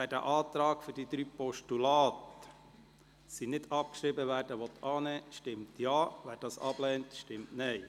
Wer den Antrag, wonach die drei Postulate nicht abzuschreiben sind, annimmt, stimmt Ja, wer dies ablehnt, stimmt Nein.